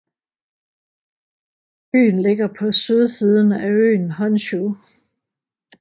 Byen ligger på sydsiden af øen Honshū